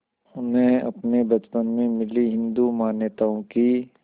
उन्हें अपने बचपन में मिली हिंदू मान्यताओं की